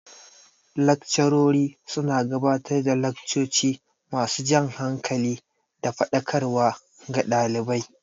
Laccarori su na gabatar da laccoci ma su jan hankali da faɗakarwa ga ɗalibai